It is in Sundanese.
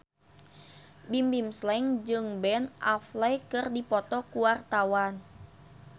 Bimbim Slank jeung Ben Affleck keur dipoto ku wartawan